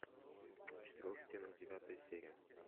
в четырех стенах девятая серия